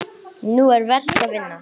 Nú er verk að vinna.